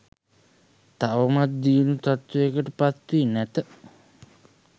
තවමත් දියුණු තත්ත්වයට පත්වී නැත.